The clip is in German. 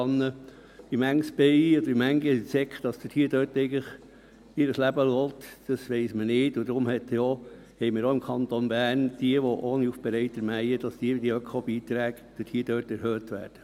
Wie viele Bienen oder Insekten dabei ihr Leben lassen, weiss man nicht, und darum haben wir es im Kanton Bern so geregelt, dass die Ökobeiträge für jene, die ohne Aufbereiter mähen, erhöht werden.